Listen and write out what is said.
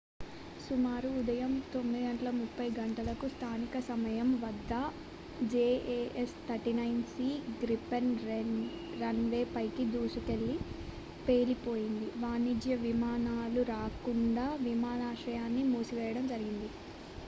సుమారు ఉదయం 9:30 గంటలకు స్థానిక సమయం 0230 utc వద్ద jas 39c గ్రిపెన్ రన్వే పైకి దూసుకెళ్లి పేలిపోయింది వాణిజ్య విమానాలు రాకుండా విమానాశ్రయాన్ని మూసివేయడం జరిగింది